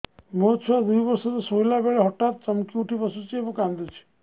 ମୋ ଛୁଆ ଦୁଇ ବର୍ଷର ଶୋଇଲା ବେଳେ ହଠାତ୍ ଚମକି ଉଠି ବସୁଛି ଏବଂ କାଂଦୁଛି